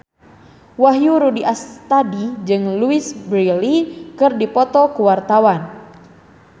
Wahyu Rudi Astadi jeung Louise Brealey keur dipoto ku wartawan